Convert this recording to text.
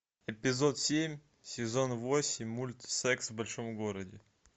эпизод семь сезон восемь мульт секс в большом городе